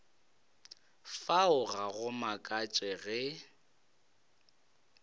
fao ga go makatše ge